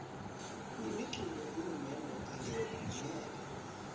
imiculu yahulumende ingeke